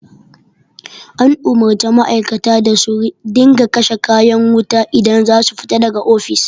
An umarci ma'aikata da su dinga kashe kayan wuta idan za su fita da ga ofis